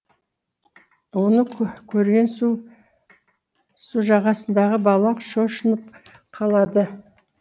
оны көрген су жағасындағы бала шошынып қалады